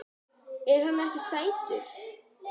Er hann ekki sætur?